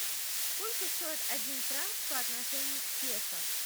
сколько стоит один франк по отношению к песо